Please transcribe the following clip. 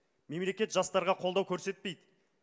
мемлекет жастарға қолдау көрсетпейді